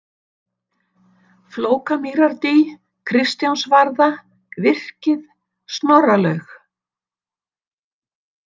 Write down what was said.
Flókamýrardý, Kristjánsvarða, Virkið, Snorralaug